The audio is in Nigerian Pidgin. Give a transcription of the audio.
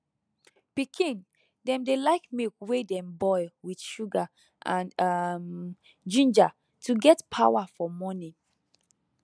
pikin dem dey like milk wey dem boil with sugar and um ginger to get power for morning